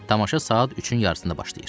Tamaşa saat üçün yarısında başlayır.